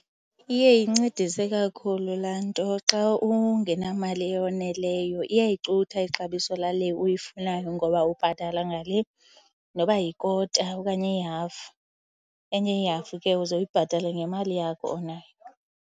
Iye incedise kakhulu laa nto xa ungenamali eyoneleyo iyayicutha ixabiso lale uyifunayo ngoba ubhatala ngale noba yikota okanye ihafu. Enye ihafu ke uze uyibhatale ngemali yakho onayo.